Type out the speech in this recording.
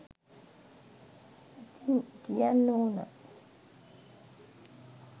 ඉතිං කියන්න ඕන